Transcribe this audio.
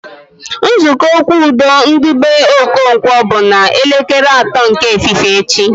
Nzukọ okwu udo ndị be Okonkwo bụ na elekere atọ nke efifie echi